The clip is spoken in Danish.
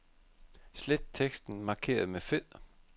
Slet teksten markeret med fed.